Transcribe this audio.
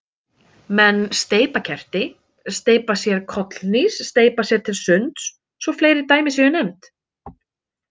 Menn steypa kerti, steypa sér kollhnís, steypa sér til sunds svo fleiri dæmi séu nefnd.